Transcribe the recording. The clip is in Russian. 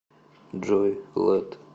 джой лэд